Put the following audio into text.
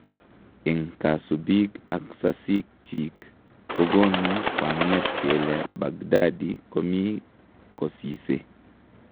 Eng' kasubiik ak sasik chiik kogonu kwang'et kele Baghdadi komii kosise.